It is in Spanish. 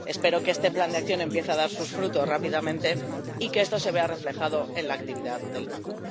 Espero que este plan de acción empiece a dar sus frutos rápidamente y que esto se vea reflejado en la actividad del Banco.